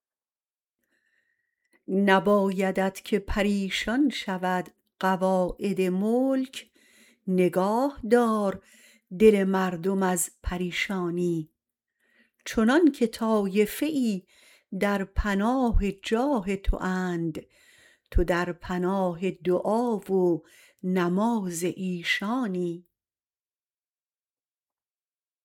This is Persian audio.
نبایدت که پریشان شود قواعد ملک نگاه دار دل مردم از پریشانی چنانکه طایفه ای در پناه جاه تواند تو در پناه دعا و نماز ایشانی